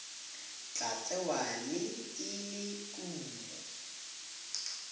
tla tsewa e le kumo